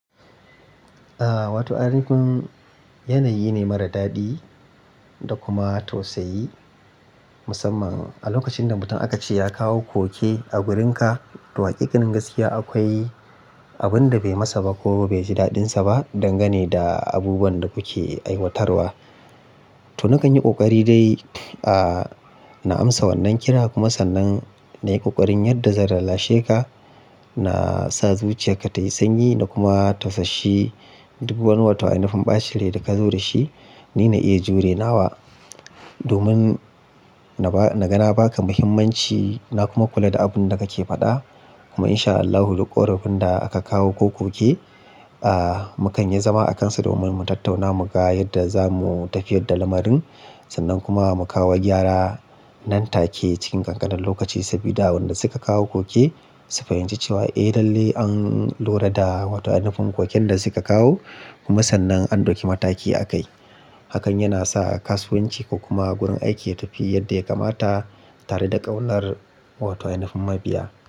Aaa wato, nihin yanayi ne mara daɗi da kuma tausayi musamman a lokacin da mutum aka ce ya kawo koke a gurin ka. To hakikanin gaskiya akwai abin da bai masa ba ko bai ji daɗinsa ba, dangane da abubuwan da kuke aiwatarwa. To na kan yi ƙoƙari dai a na amsa wannan kira kuma sannan na yi ƙoƙarin yadda zan lallashe ka, na sa zuciyar ka ta yi sanyi na kuma tausashi duk wani wato ainifun ɓacin rai da ka zo da shi. Ni na iya jure nawa domin na ba, na ga na ba ka mahimmanci na kuma kula da abin da ka ke faɗa. Kuma insha Allahu duk ƙorafin da aka kawo ko koke a mukanyi zama akansa domin mu tattauna mu ga yadda zamu tafi yadda lamarin. Sannan kuma mu kawo gyara nan take cikin ƙanƙanin lokaci sabida wanda suka kawo koke su fahimci cewa eh lalle an lura da wato ainifun koken da suka kawo kuma sannan an ɗauki mataki a kai. Hakan yana sa kasuwanci ko kuma gurin aiki ya tafi yadda ya kamata tare da ƙaunar wato ainifun mabiya.